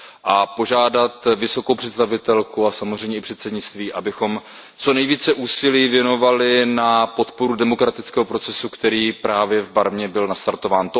A požádat vysokou představitelku a samozřejmě i předsednictví, abychom co nejvíce úsilí věnovali na podporu demokratického procesu, který právě v Barmě byl nastartován.